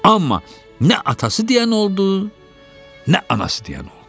Amma nə atası deyən oldu, nə anası deyən oldu.